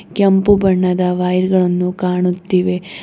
ಕೆಂಪು ಬಣ್ಣದ ವಯರ್ ಗಳನ್ನು ಕಾಣುತ್ತಿವೆ.